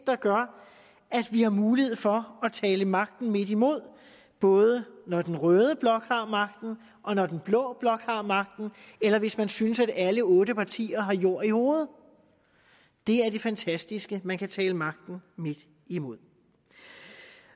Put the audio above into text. der gør at vi har mulighed for at tale magten midt imod både når den røde blok har magten og når den blå blok har magten eller hvis man synes at alle otte partier har jord i hovedet det er det fantastiske man kan tale magten midt imod